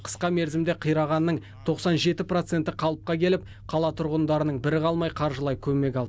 қысқа мерзімде қирағанның тоқсан жеті проценті қалыпқа келіп қала тұрғындарының бірі қалмай қаржылай көмек алды